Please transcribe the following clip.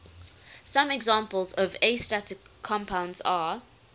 some examples of astatic compounds are